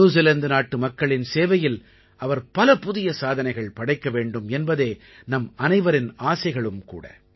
New Zealand நாட்டு மக்களின் சேவையில் அவர் பல புதிய சாதனைகள் படைக்க வேண்டும் என்பதே நம் அனைவரின் ஆசைகளும் கூட